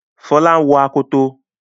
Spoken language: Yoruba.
Fola ń wò Akoto.